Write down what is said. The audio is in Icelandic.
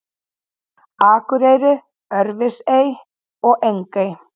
Akurey, Örfirisey og Engey.